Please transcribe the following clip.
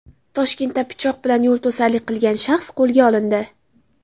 Toshkentda pichoq bilan yo‘lto‘sarlik qilgan shaxs qo‘lga olindi.